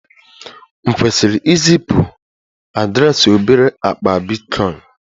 M kwesịrị izipu m adreesị obere akpa bitcoin?